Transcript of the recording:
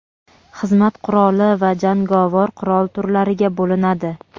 xizmat quroli va jangovar qurol turlariga bo‘linadi.